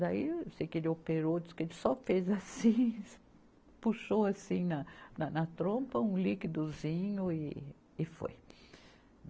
Daí, eu sei que ele operou, disse que ele só fez assim, puxou assim na, na trompa um liquidozinho e, e foi.